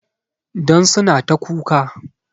Don suna ta kuka